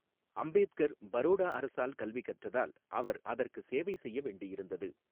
அம்பேத்கர் பரோடா அரசால் கல்வி கற்றதால், அவர் அதற்கு சேவை செய்ய வேண்டியிருந்தது.